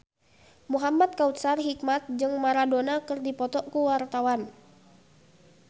Muhamad Kautsar Hikmat jeung Maradona keur dipoto ku wartawan